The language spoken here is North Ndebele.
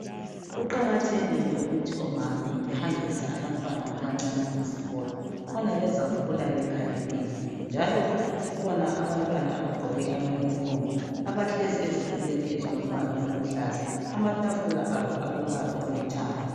Kuqakathekile ukuthi omama behambise abantwana abancane ezikolo khona bezakhula bekhaliphile njalo kukhona abantwana abagqoke amayunifomu abahlezi ezitulweni ezilombala oluhlaza, amatafula abo alombala olithanga.